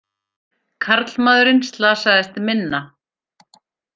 Karlmaðurinn slasaðist minna